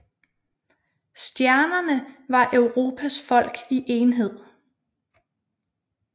Stjernerne var Europas folk i enhed